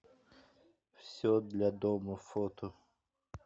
все для дома фото